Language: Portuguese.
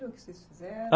O que que vocês fizeram?